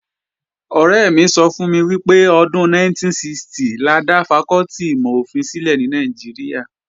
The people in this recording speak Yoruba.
Ọ̀rẹ́ mi sọ fún mi pé ọdún 1960 la dá fakọ́tì ìmọ̀-ofin sílẹ̀ ní Nàìjíríà